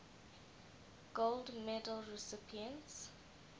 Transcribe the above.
gold medal recipients